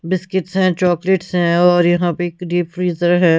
Biscuits हैं chocolates हैं और यहां पे एक डीप फ्रीजर है।